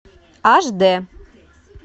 аш д